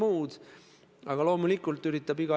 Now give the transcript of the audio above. See on loomulikult suur probleem.